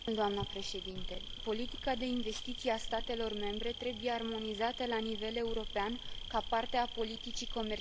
Politica de investiții a statelor membre trebuie armonizată la nivel european, ca parte a politicii comerciale comune.